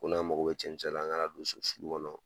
Ko n'a mago be cɛncɛn la , an ka na don so sulu kɔnɔ.